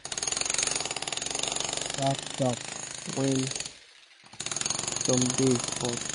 sheep da taya shap shap when some days hot